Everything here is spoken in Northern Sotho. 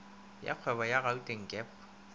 ya kgwebo ya gauteng gep